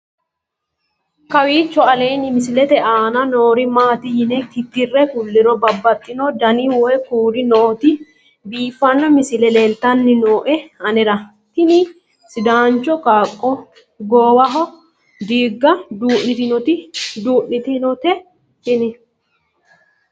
kowiicho aleenni misilete aana noori maati yine titire kulliro babaxino dani woy kuuli nooti biiffanno misile leeltanni nooe anera tino sidaancho qaaqqo goowaho diigga duu'nitinote tini